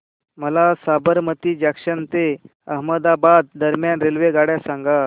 मला साबरमती जंक्शन ते अहमदाबाद दरम्यान रेल्वेगाड्या सांगा